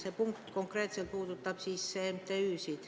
See punkt konkreetselt puudutab MTÜ-sid.